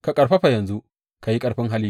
Ka ƙarfafa yanzu; ka yi ƙarfin hali.